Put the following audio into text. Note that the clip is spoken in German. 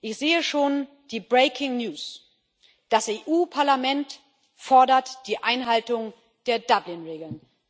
Ich sehe schon die Breaking News Das EU Parlament fordert die Einhaltung der Dublin Regeln.